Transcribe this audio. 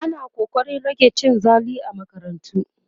ana ƙoƙarin rage cin zali a makarantu